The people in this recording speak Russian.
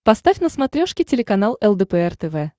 поставь на смотрешке телеканал лдпр тв